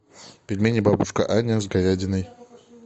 пельмени бабушка аня с говядиной